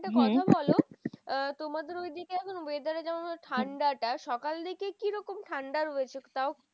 একটা কথা বলো? তোমাদের ঐদিকে এখন weather যেমন ঠান্ডাটা সকাল দিকে কি রকম ঠান্ডা রয়েছে তাও?